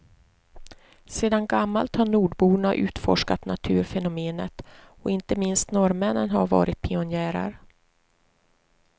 Sedan gammalt har nordborna utforskat naturfenomenet, och inte minst norrmännen har varit pionjärer.